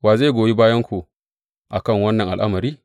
Wa zai goyi bayanku a kan wannan al’amari?